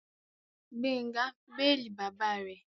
Gbénga béèlì bàbá rẹ̀